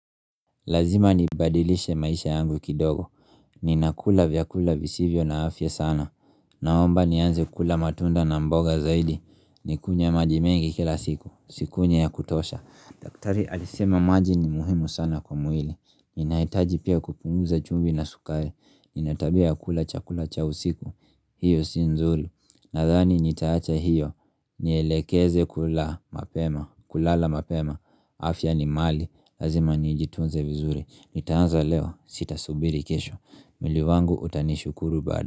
Lazima ni badilishe maisha yangu kidogo. Ninakula vyakula visivyo na afya sana. Naomba nianze kula matunda na mboga zaidi. Nikunye maji mengi kila siku. Sikunye ya kutosha. Daktari alisema maji ni muhimu sana kwa mwili Ninaitaji pia kupumuza chumbi na sukai Ninaitabia kula chakula cha usiku hiyo sinzuri Nathani nitaacha hiyo Nielekeze kula mapema kulala mapema afya ni mali Lazima niijitunze vizuri Nitaanza leo sita subiri kesho Miliwangu utanishukuru bada.